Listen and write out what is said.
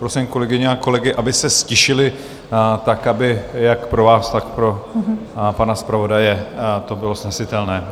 Prosím kolegyně a kolegy, aby se ztišili, tak aby jak pro vás, tak pro pana zpravodaje to bylo snesitelné.